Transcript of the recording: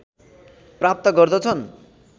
प्राप्त गर्दछन्